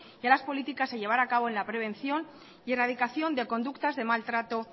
y a las políticas a llevar a cabo en la prevención y en la dedicación de conductas de maltrato